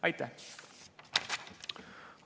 Aitäh!